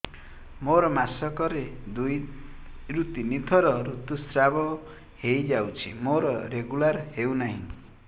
ମୋର ମାସ କ ରେ ଦୁଇ ରୁ ତିନି ଥର ଋତୁଶ୍ରାବ ହେଇଯାଉଛି ମୋର ରେଗୁଲାର ହେଉନାହିଁ